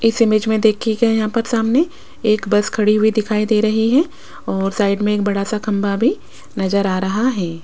इस इमेज में देखियेगा यहां पर सामने एक बस खड़ी हुई दिखाई दे रही है और साइड में एक बड़ा सा खंभा भी नजर आ रहा है।